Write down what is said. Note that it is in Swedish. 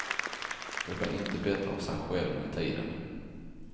Det blir inte bättre av sig själv med tiden.